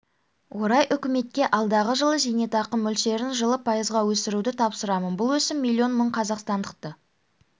орай үкіметке алдағы жылы зейнетақы мөлшерін жылы пайызға өсіруді тапсырамын бұл өсім миллион мың қазақстандықты